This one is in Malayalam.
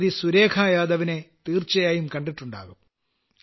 സുരേഖായാദവിനെ തീർച്ചയായും കണ്ടിട്ടുണ്ടാകും